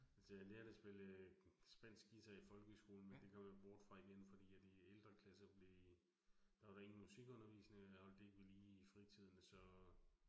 Altså jeg lærte at spille øh spansk guitar i folkeskolen, men det kom jeg bort fra igen fordi, at i ældre klasser blev. Der var der var ingen musikundervisning, og jeg holdt det ikke ved lige i fritiden så